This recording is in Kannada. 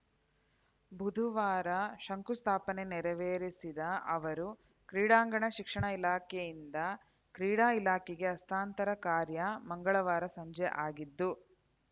ಬುಧವಾರ ಶಂಕುಸ್ಥಾಪನೆ ನೆರವೇರಿಸಿದ ಅವರು ಕ್ರೀಡಾಂಗಣ ಶಿಕ್ಷಣ ಇಲಾಖೆಯಿಂದ ಕ್ರೀಡಾ ಇಲಾಖೆಗೆ ಹಸ್ತಾಂತರ ಕಾರ್ಯ ಮಂಗಳವಾರ ಸಂಜೆ ಆಗಿದ್ದು